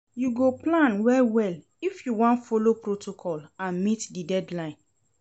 You go plan well-well if you wan folo protocol and meet di deadline.